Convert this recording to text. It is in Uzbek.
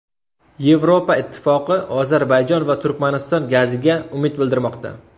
Yevropa Ittifoqi Ozarbayjon va Turkmaniston gaziga umid bildirmoqda.